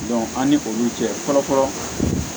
an ni olu cɛ fɔlɔ fɔlɔ